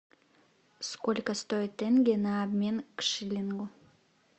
сколько стоит тенге на обмен к шиллингу